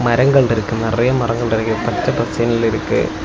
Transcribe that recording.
மரங்கள்ருக்கு நெறைய மரங்கள்ருக்கு பச்ச பசேல்னு இருக்கு.